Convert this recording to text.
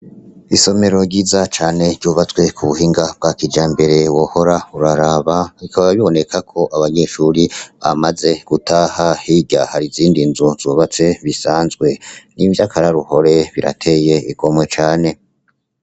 Isomero ryiza cane ryubatswe ku buhinga bwa kijambere wohora uraraba, bikaba biboneka ko abanyeshure bamaze gutaha, hirya hari izindi nzu zisanzwe. Ni ivyo akaroruhore birateye igomwe cane.